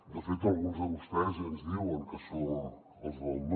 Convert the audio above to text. de fet alguns de vostès ja ens diuen que som els del no